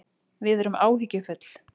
Við erum áhyggjufull